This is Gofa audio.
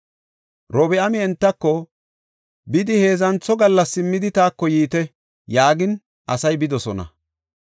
Robi7aami entako, “Bidi heedzantho gallas simmidi taako yiite” yaagin asay bidosona.